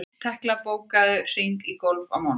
Tekla, bókaðu hring í golf á mánudaginn.